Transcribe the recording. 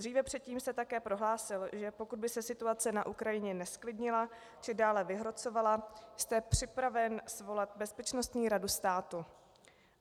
Dříve, předtím, jste také prohlásil, že pokud by se situace na Ukrajině nezklidnila či dále vyhrocovala, jste připraven svolat Bezpečnostní radu státu.